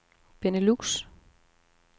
Benelux